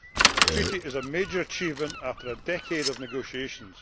The Treaty is a major achievement after a decade of negotiations.